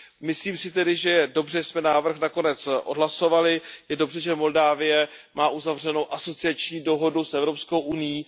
Myslím si tedy, že je dobře, že jsme návrh nakonec odhlasovali, je dobře, že Moldávie má uzavřenou asociační dohodu s Evropskou unií.